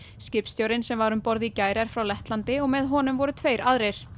skipstjórinn sem var um borð í gær er frá Lettlandi og með honum voru tveir aðrir